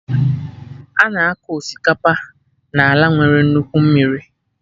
Ana akọ Osikapa n'ala nwere nnukwu mmiri